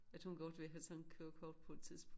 At hun godt vil have sådan et kørekort på et tidspunkt